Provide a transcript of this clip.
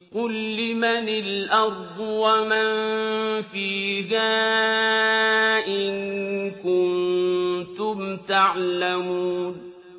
قُل لِّمَنِ الْأَرْضُ وَمَن فِيهَا إِن كُنتُمْ تَعْلَمُونَ